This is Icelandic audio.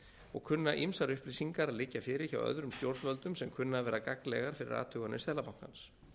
og kunna ýmsar upplýsingar að liggja fyrir hjá öðrum stjórnvöldum sem kunna að vera gagnlegar fyrir athuganir seðlabankans